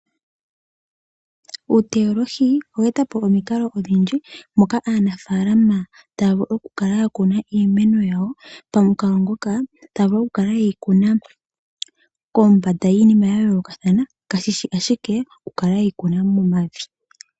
Uuteolohi oweeta po mikalo odhindji moka aanafalama taa vulu okukala ya kuna iimeno yawo, pamukalo ngoka ta vulu okukala eyi kuna kombanda yiinima ya yoolokathana kashishi ashike okukala yeyi kuna momavi.